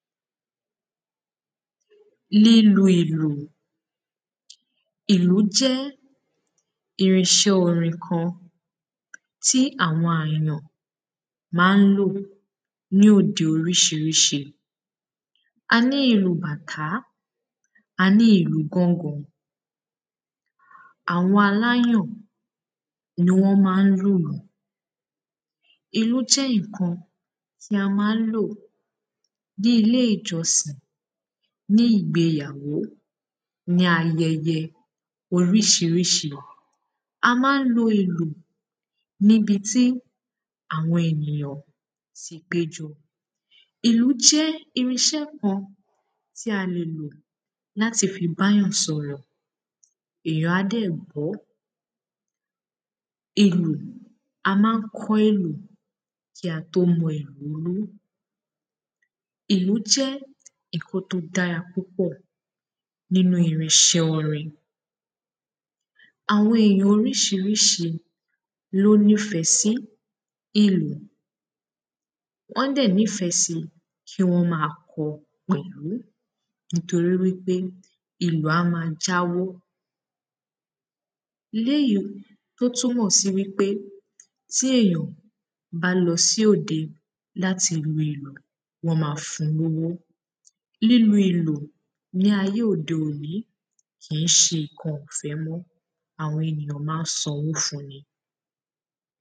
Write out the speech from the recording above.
Lílu ìlù. Ìlù jé̩ irin is̩é̩ orin kan tí àwo̩n àyàn má n lò ní òde orís̩irís̩i. Aní ìlù bàtàá, aní ìlù gángan. Àwo̩n aláyàn ni wó̩n má n lùlù. Ìlù jé̩ ǹkan tí a má n lò ní ilé ìjò̩sìn, ní ìgbeyàwó, ní aye̩ye̩ orís̩irís̩i. A má n lo ìlù nibí tí àwo̩n ènìyàn ti pé jo̩. Ìlù jé̩ irin is̩é̩ kan tí a lè lò láti fi bá èyàn sò̩rò̩, èyàn á dè̩ gbó̩. Ìlù, a má n kó̩ ìlù kí a tó mo̩ ìlù lú. Ìlù jé̩ ǹkan tó dára púpò̩ nínu irin is̩é̩ orin. Àwo̩n ìlù orís̩irís̩i lóní fè̩ sí ìlù. Wó̩n dè̩ nífe̩ si kí wó̩n ma ko̩ pè̩lú nítorí wípé ìlù á ma jáwó. Léyì tó túnmò̩ si wípé tí èyàn bá lo̩ sí òde láti lu ìlù wó̩n ma fun lówó. Lílu ìlù ní ayé òde òní kì ń s̩e ǹkan ò̩fé̩ mó̩, àwo̩n ènìyàn má n sanwó fun ni.